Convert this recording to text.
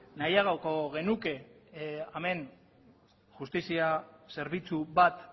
nahiagoko genuke hemen justizia zerbitzu bat